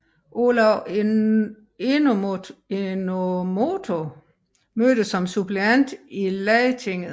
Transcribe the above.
Olav Enomoto mødte som suppleant i Lagtinget